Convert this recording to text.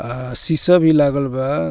आ शीशा भी लागल बा।